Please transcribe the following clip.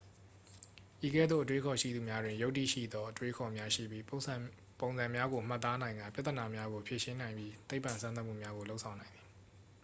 ဤကဲ့သို့ အတွေးအခေါ်ရှိသူများတွင် ယုတ္တိရှိသော အတွေးအခေါ်များရှိပြီး ပုံစံများကို မှတ်သားနိုင်ကာ ပြဿနာများကို ဖြေရှင်းနိုင်ပြီး သိပ္ပံစမ်းသပ်မှုများကို လုပ်ဆောင်နိုင်သည်